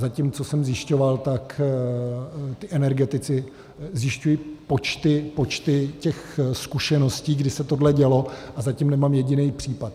Zatím, co jsem zjišťoval, tak ti energetici zjišťují počty těch zkušeností, kdy se tohle dělo, a zatím nemám jediný případ.